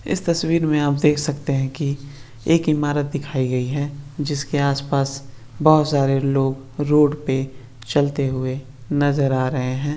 इस तस्वीर में आप देख सकते हैं कि एक इमारत दिखाई गई है जिसके आसपास बहुत सारे लोग रोड पे चलते हुए नजर आ रहे है।